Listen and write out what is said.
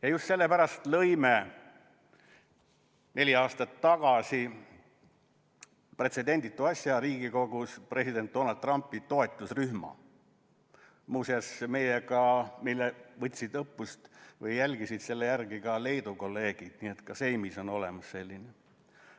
Ja just sellepärast lõime neli aastat tagasi pretsedenditu asja Riigikogus: president Donald Trumpi toetusrühma, millest muuseas võtsid eeskuju ka Leedu kolleegid, nii et ka Seimis on selline olemas.